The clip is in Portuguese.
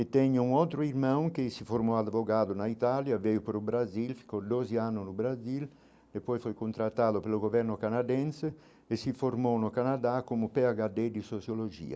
E tenho um outro irmão que se formou advogado na Itália, veio para o Brasil, ficou doze anos no Brasil, depois foi contratado pelo governo canadense e se formou no Canadá como pê agá dê de Sociologia.